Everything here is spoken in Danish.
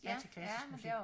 Jeg til klassisk musik